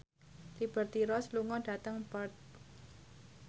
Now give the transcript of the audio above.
Liberty Ross lunga dhateng Perth